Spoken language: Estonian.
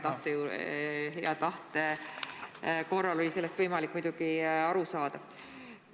Hea tahte korral oli sellest võimalik muidugi aru saada.